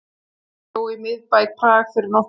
Ég bjó í miðbæ Prag fyrir nokkrum árum.